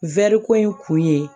ko in kun ye